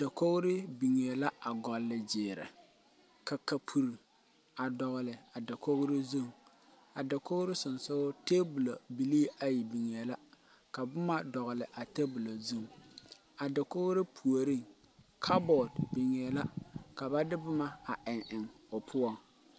Dakouri bengɛɛ la a gulli jiiri ka kapul a dɔgli a dakouri zung a dakouri sunsuri tabol bilii ayi bengeẽ la ka buma dɔgli a tabol zung a dakouri pouring kapboard bengeẽ la ka ba de buma a eng eng ɔ puo.